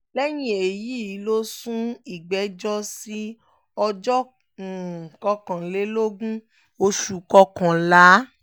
lẹ́yìn èyí ló sún ìgbẹ́jọ́ sí ọjọ́ kọkànlélógún oṣù kọkànlá